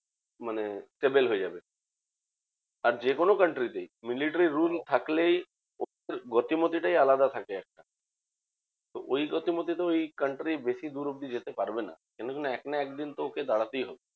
মানে stable হয়ে যাবে। আর যেকোনো country তেই military rule থাকলেই ওদের গতিমতি টাই আলাদা থাকে। ওই গতিমতি তে ওই country বেশি দূর অব্দি যেতে পারবে না। কেন কি? এক না একদিন তো ওকে দাঁড়াতেই হবে।